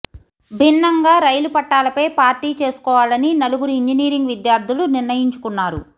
భిన్నంగా రైలు పట్టాలపై పార్టీ చేసుకోవాలని నలుగురు ఇంజనీరింగ్ విద్యార్థులు నిర్ణయించుకున్నారు